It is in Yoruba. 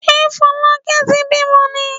Ṣé Fọlákẹ́ ti bímọ ni?